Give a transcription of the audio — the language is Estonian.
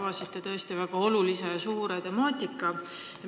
Te avasite tõesti väga suure teema.